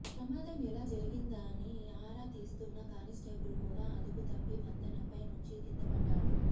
ప్రమాదం ఎలా జరిగిందని ఆరా తీస్తున్న కానిస్టేబుల్ కూడా అదుపు తప్పి వంతెనపై నుంచి కిందపడ్డాడు